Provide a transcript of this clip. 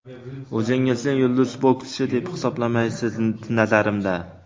O‘zingizni yulduz bokschi, deb hisoblamaysiz, nazarimda.